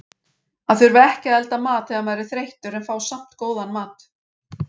Að þurfa ekki að elda mat þegar maður er þreyttur en fá samt góðan mat.